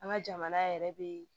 An ka jamana yɛrɛ be